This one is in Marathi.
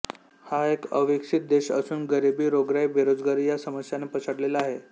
हा एक अविकसीत देश असून गरिबी रोगराई बेरोजगारी या समस्यांने पछाडलेला आहे